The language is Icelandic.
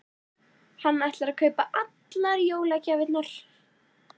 Hann ætlar að kaupa allar jólagjafirnar.